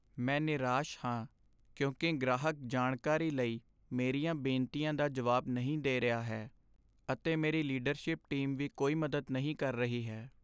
ਮੈਂ ਨਿਰਾਸ਼ ਹਾਂ ਕਿਉਂਕਿ ਗ੍ਰਾਹਕ ਜਾਣਕਾਰੀ ਲਈ ਮੇਰੀਆਂ ਬੇਨਤੀਆਂ ਦਾ ਜਵਾਬ ਨਹੀਂ ਦੇ ਰਿਹਾ ਹੈ ਅਤੇ ਮੇਰੀ ਲੀਡਰਸ਼ਿਪ ਟੀਮ ਵੀ ਕੋਈ ਮਦਦ ਨਹੀਂ ਕਰ ਰਹੀ ਹੈ।